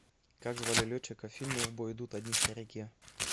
как звали летчиков в фильме в бой идут одни старики